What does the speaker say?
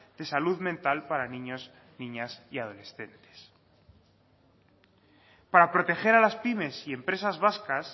de salud mental para niños niñas y adolescentes para proteger a las pymes y empresas vascas